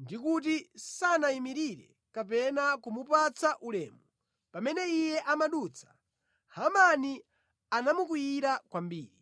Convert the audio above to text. ndi kuti sanayimirire kapena kumupatsa ulemu pamene iye amadutsa, Hamani anamukwiyira kwambiri,